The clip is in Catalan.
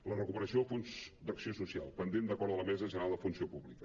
la recuperació del fons d’acció social pendent d’acord de la mesa general de la funció pública